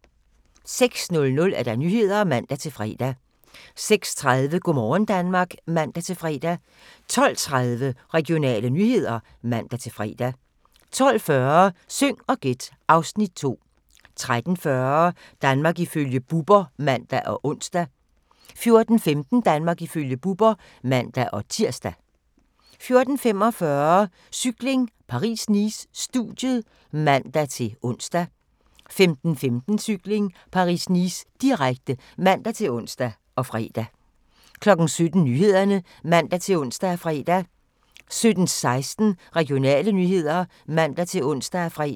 06:00: Nyhederne (man-fre) 06:30: Go' morgen Danmark (man-fre) 12:30: Regionale nyheder (man-fre) 12:40: Syng og gæt (Afs. 2) 13:40: Danmark ifølge Bubber (man og ons) 14:15: Danmark ifølge Bubber (man-tir) 14:45: Cykling: Paris-Nice - studiet (man-ons) 15:15: Cykling: Paris-Nice, direkte (man-ons og fre) 17:00: Nyhederne (man-ons og fre) 17:16: Regionale nyheder (man-ons og fre)